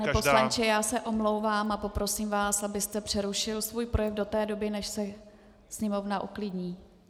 Pane poslanče, já se omlouvám a poprosím vás, abyste přerušil svůj projev do té doby, než se sněmovna uklidní.